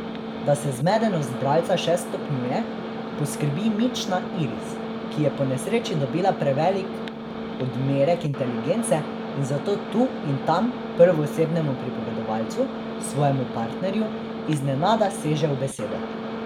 Da se zmedenost bralca še stopnjuje, poskrbi mična Iris, ki je po nesreči dobila prevelik odmerek inteligence in zato tu in tam prvoosebnemu pripovedovalcu, svojemu partnerju, iznenada seže v besedo.